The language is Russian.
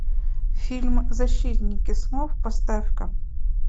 фильм защитники снов поставь ка